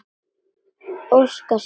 Óska sér.